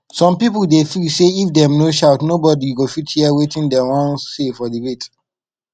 some people dey feel sey if dem no shout nobody go fit hear wetin dem wan say for debate